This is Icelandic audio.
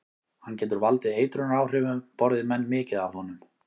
Hann getur valdið eitrunaráhrifum borði menn mikið af honum.